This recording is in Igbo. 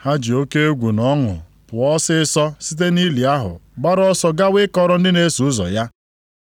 Ha ji oke egwu na ọṅụ pụọ ọsịịsọ site nʼili ahụ, gbara ọsọ gawa ịkọrọ ndị na-eso ụzọ ya.